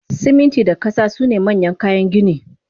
Siminti da kasa sune manyan kayan gini